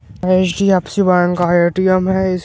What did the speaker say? HDFC. Bank का ATM. है इस --